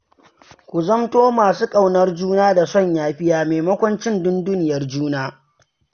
Ku zamto masu ƙaunar juna da son yafiya, maimakon cin dunduniyar juna.